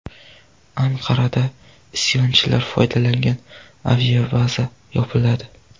Anqarada isyonchilar foydalangan aviabaza yopiladi.